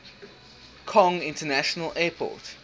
kong international airport